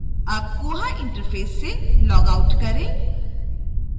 अब koha interface से logout करें